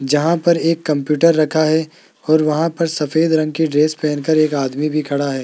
जहां पर एक कंप्यूटर रखा है और वहां पर सफेद रंग की ड्रेस पहनकर एक आदमी भी खड़ा है।